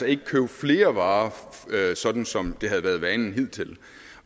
ikke købe flere varer sådan som det havde været vanen hidtil